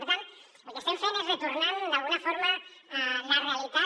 per tant el que estem fent és retornant d’alguna forma la realitat